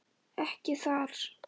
Ekki þar.